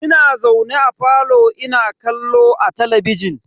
Ina zaune a falo ina kallo a talabijin.